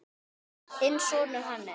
Þinn sonur, Hannes.